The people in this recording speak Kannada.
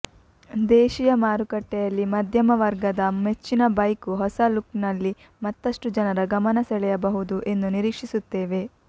ದೇಶಿಯ ಮಾರುಕಟ್ಟೆಯಲ್ಲಿ ಮಧ್ಯಮ ವರ್ಗದ ಮೆಚ್ಚಿನ ಬೈಕು ಹೊಸ ಲುಕ್ನಲ್ಲಿ ಮತ್ತಷ್ಟು ಜನರ ಗಮನಸೆಳೆಯಬಹುದು ಎಂದು ನಿರೀಕ್ಷಿಸುತ್ತೇವೆ